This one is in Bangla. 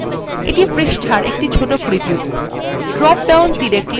এটি পৃষ্টার একটি ছোট preview